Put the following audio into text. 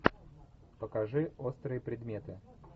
покажи острые предметы